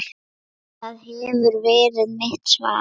Það hefði verið mitt svar.